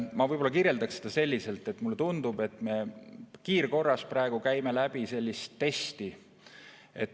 Ma võib-olla kirjeldaksin seda selliselt, et mulle tundub, et me kiirkorras praegu teeme läbi mingit testi.